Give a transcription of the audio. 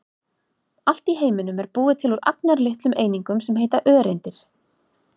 Allt í heiminum er búið til úr agnarlitlum einingum sem heita öreindir.